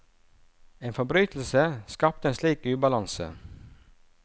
En forbrytelse skapte en slik ubalanse.